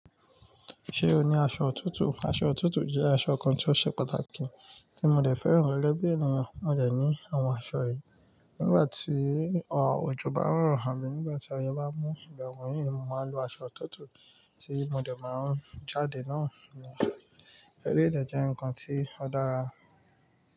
Ṣé o ní aṣọ òtútù? Aṣọ òtútù jẹ́ aṣọ kan tí ó ṣe pàtàkì tí mo dẹ̀ fẹ́ràn gẹgẹ bi ènìyàn. Mo dẹ̀ ní àwọn aṣọ yìí. Nígbà tí òjò bá ń ro, tabi nígbà tí òórùn bá mú igba wonyii ni mo máa lo aṣọ òtútù tí mo dẹ̀ máa ń jáde nàá ni eré dẹ̀ jẹ́ nǹkan tí ó dára.